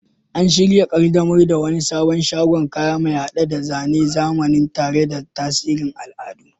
An shirya kaddamar da wani sabon shagon kaya, mai hade da zane na zamani tare da tasirin al'adu.